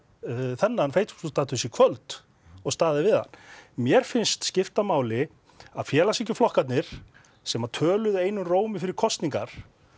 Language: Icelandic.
þennan Facebook status í kvöld og staðið við hann mér finnst skipta máli að félagshyggjuflokkarnir sem töluðu einum rómi fyrir kosningar